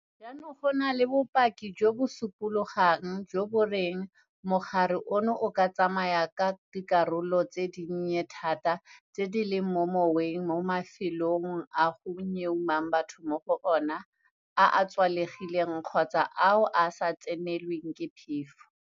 Jaanong go na le bopaki jo bo supologang jo bo reng mogare ono o ka tsamaya ka dikarolo tse dinnye thata tse di leng mo moweng mo mafelong a go nyeumang batho mo go ona, a a tswalegileng kgotsa ao a sa tsenelweng ke phefo.